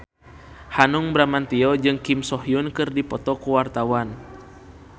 Hanung Bramantyo jeung Kim So Hyun keur dipoto ku wartawan